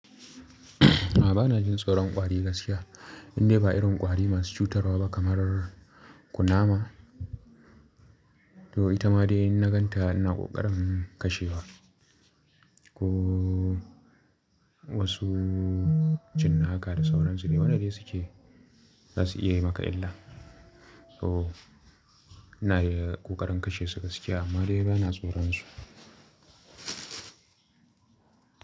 A'a, ba na jin tsoron ƙwari gaskiya. Indai ba irin ƙwari masu cutarwa ba, kamar kunama, to ita ma in nagan ta ina ƙoƙarin kashewa. Ko, wasu, cin naka da sauran su dai waɗanda suke, za su iya yi maka illa. To ina yi ƙoƙarin kashe su gaskiya amma dai ba na tsoron su.